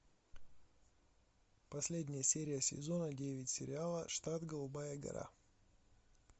последняя серия сезона девять сериала штат голубая гора